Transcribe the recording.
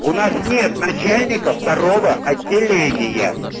у нас нет начальников второго отделения